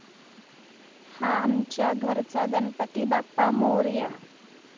हा आमच्या घरचा गणपती बाप्पा मोरया!